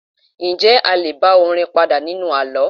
Njẹ́ a lé bá orin padà nínú àlọ́?